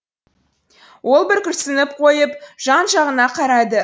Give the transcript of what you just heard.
ол бір күрсініп қойып жан жағына қарады